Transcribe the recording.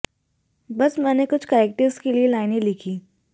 बस मैंने कुछ करैक्टर्स के लिए लाइनें लिखीं